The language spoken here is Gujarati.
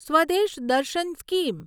સ્વદેશ દર્શન સ્કીમ